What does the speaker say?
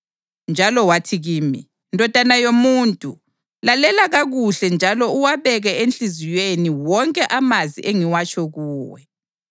Njalo wathi kimi, “Ndodana yomuntu, lalela kakuhle njalo uwabeke enhliziyweni wonke amazwi engiwatsho kuwe.